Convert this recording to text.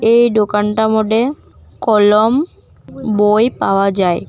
এই দোকানটার মড্যে কলম বই পাওয়া যায়।